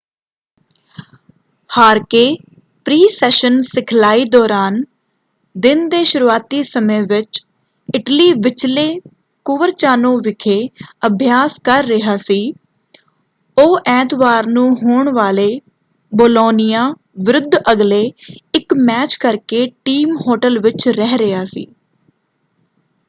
ਹਾਰਕੇ pre-session ਸਿਖਲਾਈ ਦੌਰਾਨ ਦਿਨ ਦੇ ਸ਼ੁਰੂਆਤੀ ਸਮੇਂ ਵਿੱਚ ਇਟਲੀ ਵਿਚਲੇ ਕੁਵਰਚਾਨੋ ਵਿਖੇ ਅਭਿਆਸ ਕਰ ਰਿਹਾ ਸੀ। ਉਹ ਐਤਵਾਰ ਨੂੰ ਹੋਣ ਵਾਲੇ ਬੋਲੋਨੀਆ ਵਿਰੁੱਧ ਅਗਲੇ ਇਕ ਮੈਚ ਕਰਕੇ ਟੀਮ ਹੋਟਲ ਵਿੱਚ ਰਹਿ ਰਿਹਾ ਸੀ।